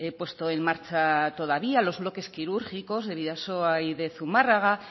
puesto en marcha todavía los bloques quirúrgicos de bidasoa y de zumárraga